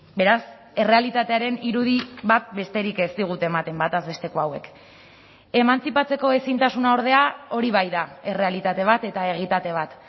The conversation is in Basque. beraz errealitatearen irudi bat besterik ez digute ematen batez besteko hauek emantzipatzeko ezintasuna ordea hori bai da errealitate bat eta egitate bat